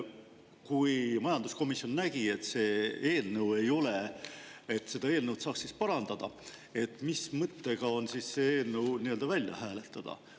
Kui majanduskomisjon nägi, et seda eelnõu saaks parandada, siis mis mõttega see eelnõu välja hääletada?